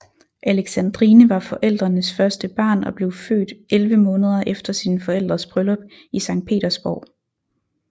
Alexandrine var forældrenes første barn og blev født elleve måneder efter sine forældres bryllup i Sankt Petersborg